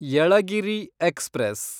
Yelagiri express